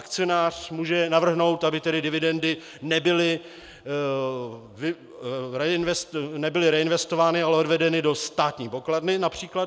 Akcionář může navrhnout, aby tedy dividendy nebyly reinvestovány a odvedeny do státní pokladny například;